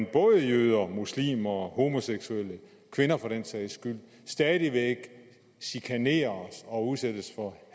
at både jøder muslimer homoseksuelle og kvinder for den sags skyld stadig væk chikaneres og udsættes for